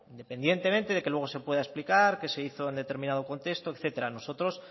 independientemente de que luego se pueda explicar que se hizo en determinado contexto etcétera nosotros